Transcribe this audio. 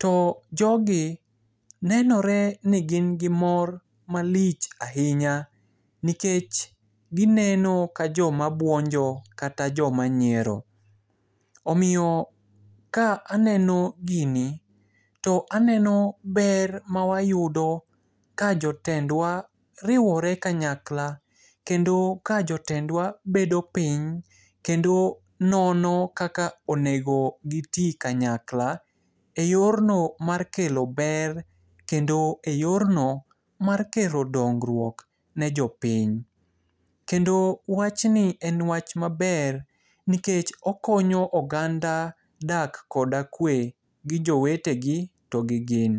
To jogi, nenoreni gin gi mor malich ahinya, nikech gineno ka joma buonjo kata joma nyiero. Omiyo ka aneno gini, to aneno ber mawayudo ka jotendwa riwore kanyakla. Kendo ka jotendwa bedo piny, kendo nono kaka onego giti kanyakla e yorno mar kelo ber, kendo e yonro mar kelo dongruok ne jopiny. Kendo wachni en wach maber, nikech okonyo oganda dak koda kwe gi jowetegi to gi gin.